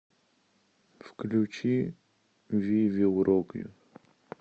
включи ви вил рок ю